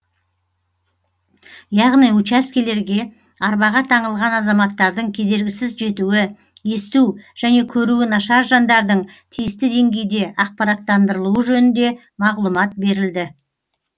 яғни учаскелерге арбаға таңылған азаматтардың кедергісіз жетуі есту және көруі нашар жандардың тиісті деңгейде ақпараттандырылуы жөнінде мағлұмат берілді